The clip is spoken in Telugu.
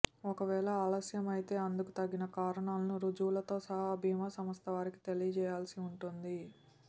ఒకవేళ ఆలస్యమైతే అందుకు తగిన కారణాలను రుజువులతో సహా బీమా సంస్థ వారికి తెలియచేయాల్సి ఉంటుంది